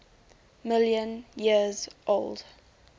million years old